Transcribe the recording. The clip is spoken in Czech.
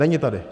Není tady.